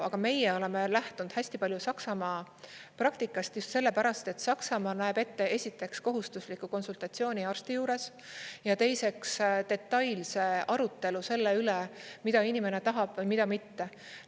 Aga meie oleme lähtunud hästi palju Saksamaa praktikast just sellepärast, et Saksamaa näeb ette, esiteks, kohustusliku konsultatsiooni arsti juures, ja teiseks, detailse arutelu selle üle, mida inimene tahab või mida mitte.